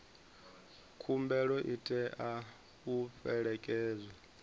khumbelo i tea u fhelekedzwa